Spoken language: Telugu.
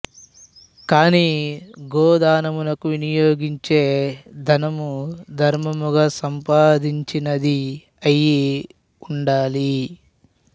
కాని గోదానముకు వినియోగించే ధనము ధర్మముగా సంపాదించినది అయి ఉండాలి